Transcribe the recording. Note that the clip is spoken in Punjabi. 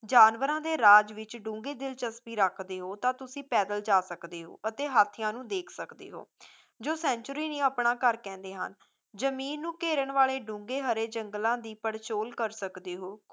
ਜਾਨਵਰਾਂ ਦੇ ਰਾਜ ਵਿੱਚ ਡੂੰਘੀ ਦਿਲਚਸਪੀ ਰੱਖਦੇ ਹੋ ਤਾਂ ਤੁਸੀ ਪੈਦਲ ਜਾ ਸਕਦੇ ਹੋ ਅਤੇ ਹਾਥੀਆਂ ਨੂੰ ਦੇਖ ਸਕਦੇ ਹੋ ਜੋ sanctuary ਨੂੰ ਆਪਣਾ ਘਰ ਕਹਿੰਦੇ ਹਨ, ਜ਼ਮੀਨ ਨੂੰ ਘੇਰਨ ਵਾਲੇ ਡੂੰਘੇ ਹਰੇ ਜੰਗਲਾਂ ਦੀ ਪੜਚੋਲ ਕਰ ਸਕਦੇ ਹੋ